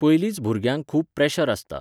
पयलींच भुरग्यांक खूब प्रॅशर आसता.